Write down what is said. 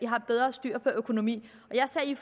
har bedre styr på økonomien jeg sagde i